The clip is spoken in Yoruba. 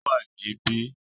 Ó wà ní bí